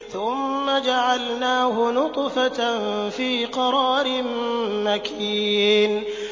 ثُمَّ جَعَلْنَاهُ نُطْفَةً فِي قَرَارٍ مَّكِينٍ